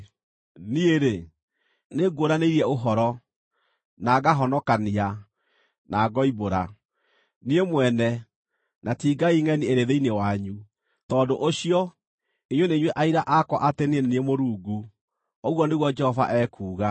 Niĩ-rĩ, nĩnguũranĩirie ũhoro, na ngahonokania, na ngoimbũra: Niĩ mwene, na ti ngai ngʼeni ĩrĩ thĩinĩ wanyu. Tondũ ũcio, inyuĩ nĩ inyuĩ aira akwa atĩ niĩ nĩ niĩ Mũrungu,” ũguo nĩguo Jehova ekuuga.